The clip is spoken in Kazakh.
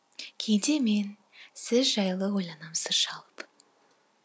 кейде мен сіз жайлы ойланам сыр шалып